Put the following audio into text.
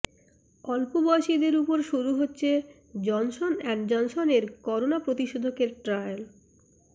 অল্প বয়সীদের উপর শুরু হচ্ছে জনসন অ্যান্ড জনসনের করোনা প্রতিষেধকের ট্রায়াল